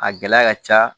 A gɛlɛya ka ca